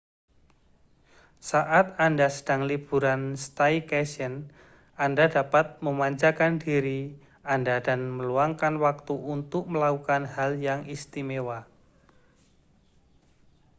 saat anda sedang liburan staycation anda dapat memanjakan diri anda dan meluangkan waktu untuk melakukan hal yang istimewa